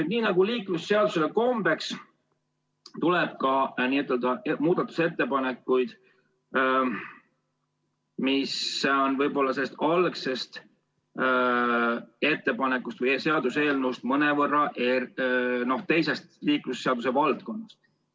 Aga nii nagu liiklusseaduse puhul kombeks, esitati ka muudatusettepanekuid, mis on selle eelnõu algsest mõttest eemal ja mõnevõrra teisest liiklusseaduse valdkonnast.